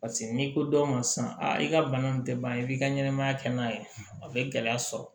Paseke n'i ko dɔw ma sisan i ka bana nin tɛ ban i b'i ka ɲɛnɛmaya kɛ n'a ye a bɛ gɛlɛya sɔrɔ